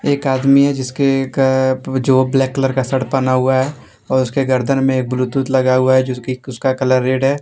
एक आदमी है जिसके एक जो ब्लैक कलर का शर्ट पहना हुआ है और उसके गर्दन में ब्लूटूथ लगा हुआ है जिसकी उसका कलर रेड है।